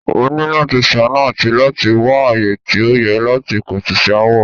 Ó ni láti ṣàánú àti láti wá ààyè tí ó yẹ láti pẹ̀tù sí aáwọ̀.